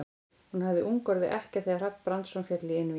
Hún hafði ung orðið ekkja þegar Hrafn Brandsson féll í einvígi.